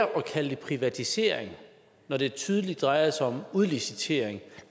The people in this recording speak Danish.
kalde det privatiseringer når det tydeligt drejer sig om udlicitering at